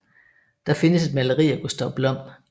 Der findes et maleri af Gustav Blom